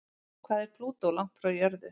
Hvað er Plútó langt frá jörðu?